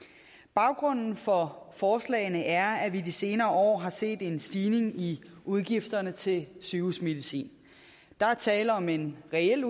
baggrunden for forslagene er at vi de senere år har set en stigning i udgifterne til sygehusmedicin der er tale om en reel